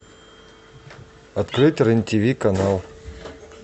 открыть рен тв канал